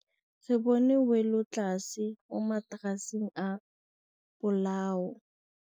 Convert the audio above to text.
Re bone wêlôtlasê mo mataraseng a bolaô.